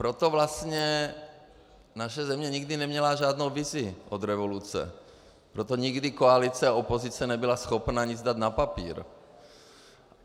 Proto vlastně naše země nikdy neměla žádnou vizi od revoluce, proto nikdy koalice a opozice nebyla schopna nic dát na papír.